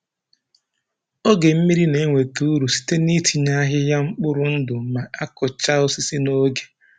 Oge mmiri na-enweta uru site n'itinye ahịhịa mkpụrụ ndụ ma a kụchaa osisi n'oge.